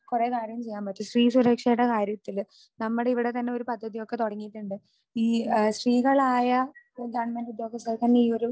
കുറെ കാര്യം ചെയ്യാൻ പറ്റും. സ്ത്രീ സുരക്ഷയുടെ കാര്യത്തിൽ നമ്മുടെ ഇവിടെ തന്നെ ഒരു പദ്ധതിയൊക്കെ തുടങ്ങീട്ടുണ്ട്. ഈ സ്ത്രീകളായ ഗവണ്മെന്റ് ഉദ്യോഗസ്ഥർക്ക് തന്നെ ഈ ഒരു